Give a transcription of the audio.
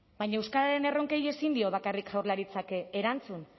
baina euskararen erronkei ezin dio bakarrik jaurlaritzak erantzun